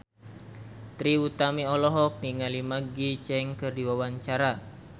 Trie Utami olohok ningali Maggie Cheung keur diwawancara